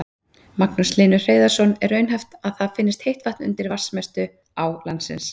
Magnús Hlynur Hreiðarsson: Er raunhæft að það finnist heitt vatn undir vatnsmestu á landsins?